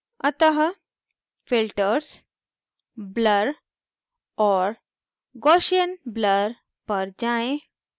अतः filters blur और gaussian blur पर जाएँ